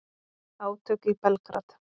Átök í Belgrad